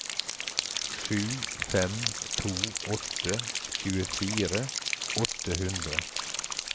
sju fem to åtte tjuefire åtte hundre